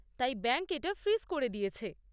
তাই ব্যাঙ্ক এটা ফ্রিজ করে দিয়েছে।